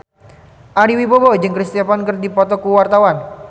Ari Wibowo jeung Chris Evans keur dipoto ku wartawan